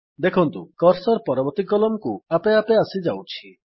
ଦେଖନ୍ତୁ କର୍ସର୍ ପରବର୍ତ୍ତୀ କଲମ୍ କୁ ଆପେ ଆପେ ଆସିଯାଉଛି